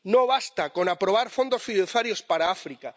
No basta con aprobar fondos fiduciarios para África.